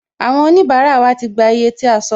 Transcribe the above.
Àwọn onibara wa ti gbà iye tí a sọ